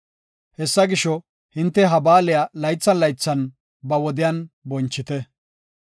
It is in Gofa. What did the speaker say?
Hessa gisho, hinte ha baaliya laythan laythan ba wodiyan bonchite.